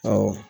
Awɔ